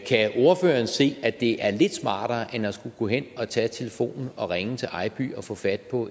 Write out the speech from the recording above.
kan ordføreren se at det er lidt smartere og end at skulle gå hen og tage telefonen og ringe til ejby og få fat på